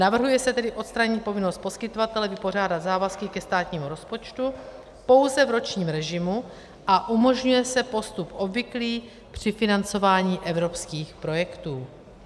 Navrhuje se tedy odstranit povinnost poskytovatele vypořádat závazky ke státnímu rozpočtu pouze v ročním režimu a umožňuje se postup obvyklý při financování evropských projektů.